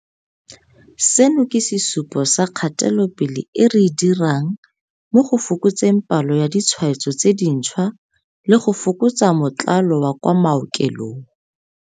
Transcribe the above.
Seno ke sesupo sa kgatelopele e re e dirang mo go fokotseng palo ya ditshwaetso tse dintšhwa le go fokotsa motlalo wa kwa maokelong.